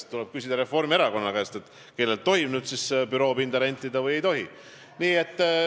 Kas tuleb küsida Reformierakonna käest, kellelt tohib büroopinda rentida ja kellelt ei tohi?